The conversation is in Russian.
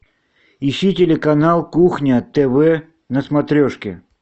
ищи телеканал кухня тв на смотрешке